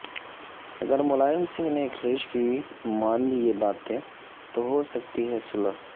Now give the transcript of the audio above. اگر ملائم سنگھ نے اکھلیش کی مان لی یہ باتیں تو ہو سکتی ہے صلح